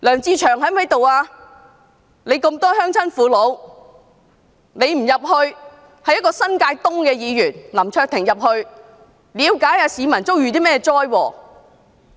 他在該區有眾多鄉親父老，他不趕往現場，反而新界東的林卓廷議員前往了解市民遭遇甚麼災禍。